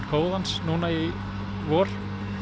kóðans núna í vor